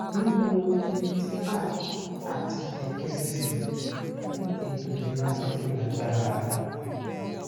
mo n lò elliptical ati kẹkẹ ẹsẹ fun eto ilera ti ko lagbara